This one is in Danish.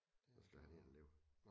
Så skal han ind og ligge